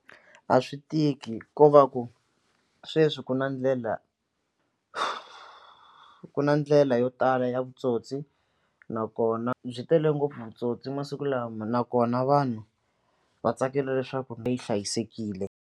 A swi tiki ko va ku sweswi ku na ndlela ku na ndlela yo tala ya vutsotsi nakona byi tele ngopfu vutsotsi masiku lama nakona vanhu va tsakela leswaku leyi hlayisekile.